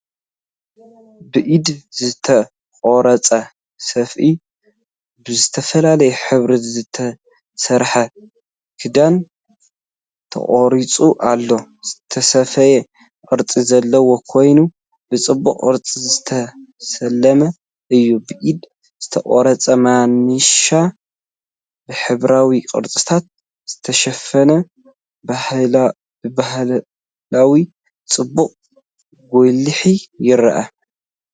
ብኢድ ዝተቐርጸ ሰፍኢ (ብዝተፈላለየ ሕብሪ ዝተሰርሐ ክዳን) ተቐሪጹ ኣሎ። ዝተሰፍየ ቅርጺ ዘለዎ ኮይኑ ብጽቡቕ ቅርጺ ዝተሰለመ እዩ። ብኢድ ዝተቐርጸ ማናሻ ብሕብራዊ ቅርጽታት ዝተሸፈነ፡ ብባህላዊ ጽባቐኡ ጐሊሑ ይርአ።